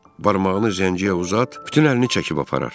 Barmağını zəngiyə uzat, bütün əlini çəkib aparar.